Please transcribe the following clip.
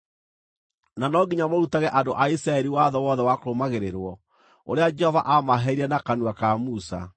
na no nginya mũrutage andũ a Isiraeli watho wothe wa kũrũmagĩrĩrwo, ũrĩa Jehova aamaheire na kanua ka Musa.”